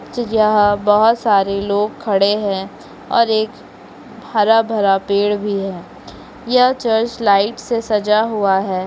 जी यहाँ बहोत सारे लोग खड़ें हैं और एक हरा भरा पेड़ भी है यह चर्च लाइट से सजा हुआ है।